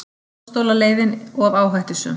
Dómstólaleiðin of áhættusöm